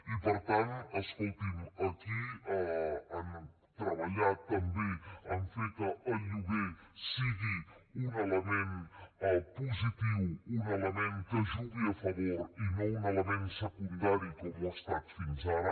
i per tant escolti’m aquí han treballat també en fer que el lloguer sigui un element positiu un element que jugui a favor i no un element secundari com ho ha estat fins ara